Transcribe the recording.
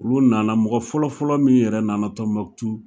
Olu nana mɔgɔ fɔlɔfɔlɔ min yɛrɛ nana Tombouctou